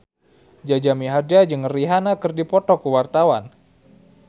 Jaja Mihardja jeung Rihanna keur dipoto ku wartawan